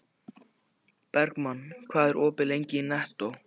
Bergmann, hvað er lengi opið í Nettó?